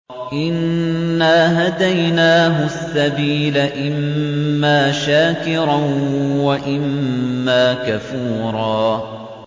إِنَّا هَدَيْنَاهُ السَّبِيلَ إِمَّا شَاكِرًا وَإِمَّا كَفُورًا